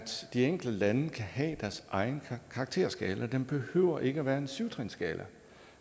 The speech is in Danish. de enkelte lande kan have deres egen karakterskala den behøver ikke at være en syv trinsskala